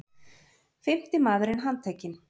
Fimmti maðurinn handtekinn